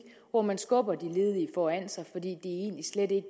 hvor man skubber de ledige foran sig fordi det egentlig slet ikke